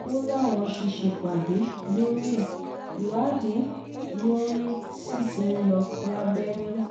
ó láwọn ti ṣèpàdé lórí ẹ̀ ìwádìí tó lóòrìn sí ti ń lọ lábẹ́nú